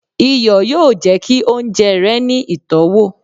iyọ yóò jẹ ki ounjẹ rẹ ni itọwo.